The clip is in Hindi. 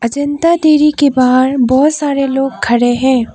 जनता डेरी के बाहर बहुत सारे लोग खड़े हैं।